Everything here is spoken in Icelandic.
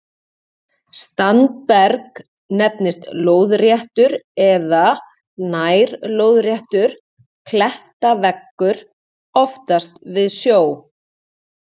Standberg nefnist lóðréttur eða nær-lóðréttur klettaveggur, oftast við sjó.